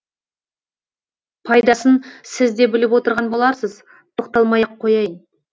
пайдасын сіз де біліп отырған боларсыз тоқталмай ақ қояйын